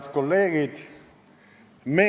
Head kolleegid!